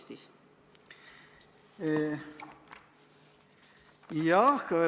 Mida ikkagi?